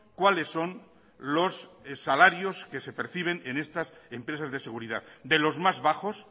cuáles son los salarios que se perciben en estas empresas de seguridad de los más bajos